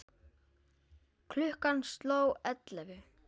Klukkan sló ellefu.